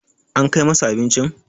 an Kai masa abincin?